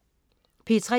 P3: